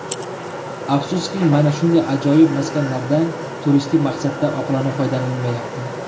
Afsuski, mana shunday ajoyib maskanlardan turistik maqsadda oqilona foydalanilmayapti.